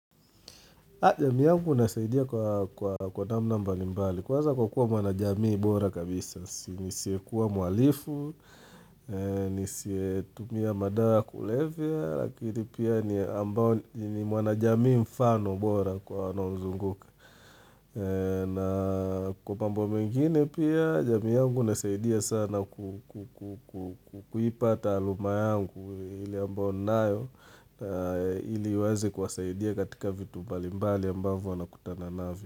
Jamii yangu nasaidia kwa namna mbali mbali, kwanza kwa kuwa mwanajamii bora kabisa, nisiyekuwa mhalifu, nisiye tumia madawa kulevya, lakini pia ni mwanajamii mfano bora kwa wanaonizunguka. Na kwa mambo mengine pia jamii yangu inasaidia sana ku kuipa taaluma yangu ile ambayo ninayo ili iweze kuwasaidia katika vitu mbali mbali ambavyo wanakutana navyo.